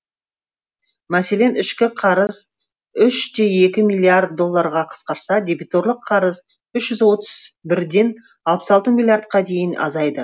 мәселен ішкі қарыз үш те екі миллиард долларға қысқарса дебиторлық қарыз үш жүз отыз бірден алпыс алты миллиардқа дейін азайды